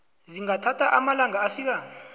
zingathatha amalanga afika